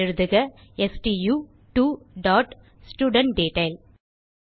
எழுதுக stu2ஸ்டூடன்ட்டெட்டைல்